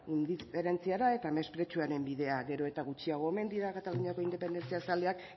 indiferentziara eta mespretxuaren bidea gero eta gutxiago omen dira kataluniako independientziazaleak